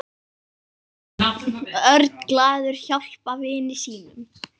Örn glaður hjálpa vini sínum.